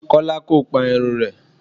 Kọ́lá kò pa irun rẹ̀.